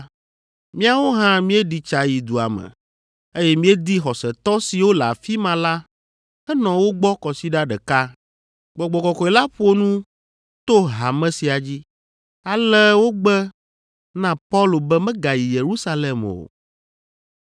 Míawo hã míeɖi tsa yi dua me, eye míedi xɔsetɔ siwo le afi ma la henɔ wo gbɔ kɔsiɖa ɖeka. Gbɔgbɔ Kɔkɔe la ƒo nu to hame sia dzi, ale wogbe na Paulo be megayi Yerusalem o.